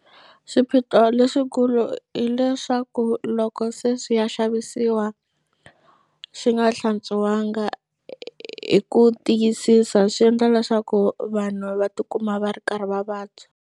Swiphiqo leswikulu hileswaku loko se swi ya xavisiwa xi nga hlantswanga hi ku tiyisisa swi endla leswaku vanhu va tikuma va ri karhi va vabya.